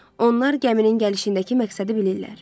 Onlar gəminin gəlişindəki məqsədi bilirlər.